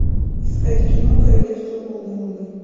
искать кино королевство полной луны